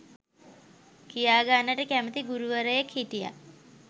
කියාගන්නට කැමැති ගුරුවරයෙක් හිටියා.